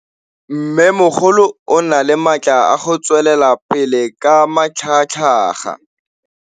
Mmêmogolo o na le matla a go tswelela pele ka matlhagatlhaga.